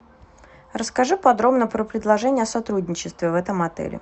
расскажи подробно про предложение о сотрудничестве в этом отеле